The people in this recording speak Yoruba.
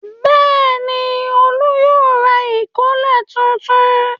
Bẹ́ẹ̀ ni, Olú yóò ra ìkọ́lẹ̀ tuntun.